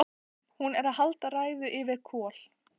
Hún er að halda ræðu yfir Kol: